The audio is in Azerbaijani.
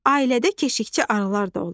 Ailədə keşiyçi arılar da olur.